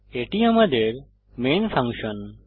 এটি আমাদের main function